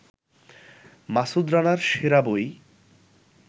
মাসুদ রানার সেরা বই